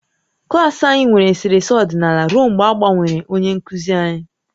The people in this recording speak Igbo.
Klas anyị nwere eserese ọdịnala ruo mgbe a gbanwere onye nkuzi anyị